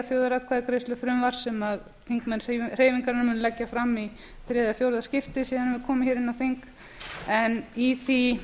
þjóðaratkvæðagreiðslufrumvarp sem þingmenn hreyfingarinnar munu leggja fram í þriðja eða fjórða skiptið síðan við komum hér inn á þing í því